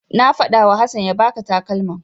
Na faɗawa Hassan ya baka takalman.